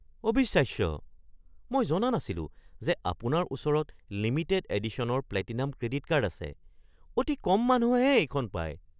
অবিশ্বাস্য! মই জনা নাছিলোঁ যে আপোনাৰ ওচৰত লিমিটেড এডিশ্যনৰ প্লেটিনাম ক্ৰেডিট কাৰ্ড আছে। অতি কম মানুহেহে এইখন পায়।